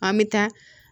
An bɛ taa